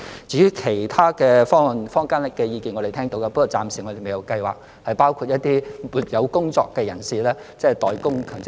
至於其他方案，坊間的意見我們是聽到的，但我們暫時未有計劃為一些沒有工作的人士一併代供強積金。